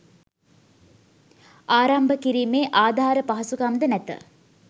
ආරම්භ කිරීමේ ආධාර පහසුකම් ද නැත.